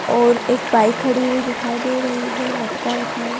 और एक बाइक खड़ी हुई दिखाई दे रही है मटका रखा हुआ--